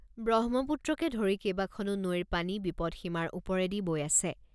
ব্ৰহ্মপুত্ৰকে ধৰি কেইবাখনো নৈৰ পানী বিপদ সীমাৰ ওপৰেদি বৈ আছে।